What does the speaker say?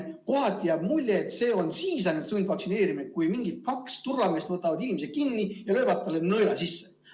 Kohati jääb mulje, et ainult siis on sundvaktsineerimine, kui mingid kaks turvameest võtavad inimese kinni ja löövad talle nõela sisse.